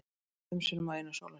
Lést fimm sinnum á einum sólarhring